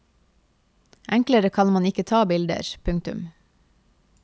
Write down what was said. Enklere kan man ikke ta bilder. punktum